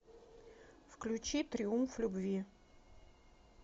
включи триумф любви